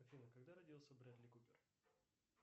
афина когда родился брэдли купер